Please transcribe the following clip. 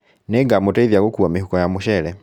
Nĩngamũteithia gũkua mĩhuko ya mũcere